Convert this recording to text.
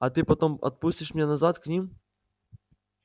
а ты потом отпустишь меня назад к ним